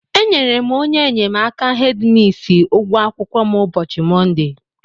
Enyere m onye enyemaka hedi misi ụgwọ akwụkwọ m ụbọchị Mọnde.